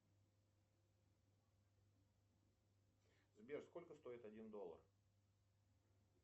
сбер сколько стоит один доллар